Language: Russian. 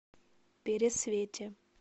пересвете